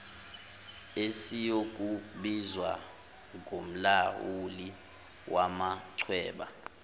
esiyokubizwa ngomlawuli wamachweba